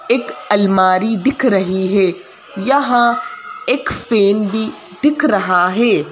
एक अलमारी दिख रही है यहां एक पेन भी दिख रहा है।